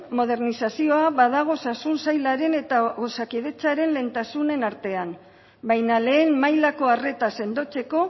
modernizazioa badago osasun sailaren eta osakidetzaren lehentasunen artean baina lehen mailako arreta sendotzeko